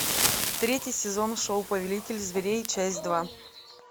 третий сезон шоу повелитель зверей часть два